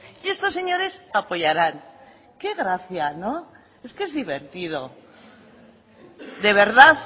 y estos señores apoyarán qué gracia no es que es divertido de verdad